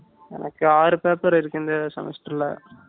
எனக்கு ஆறு paper இருக்கு இந்த semester ல